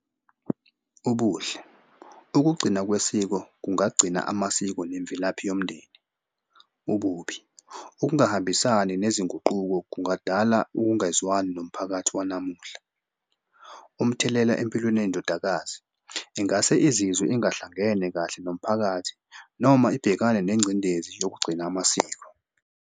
Ubuhle ugcina kwesiko kungagcina amasiko nemvelaphi yomndeni. Ububi ukungahambisani nezinguquko kungadala ukungezwani nomphakathi wanamuhla. Umthelela empilweni yendodakazi, ingase izizwe ingahlangene kahle nomphakathi noma ibhekane nengcindezi yokugcina amasiko.